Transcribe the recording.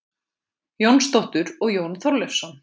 Jónsdóttur og Jón Þorleifsson.